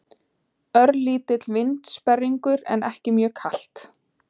Örlítill vindsperringur en ekki mjög kalt.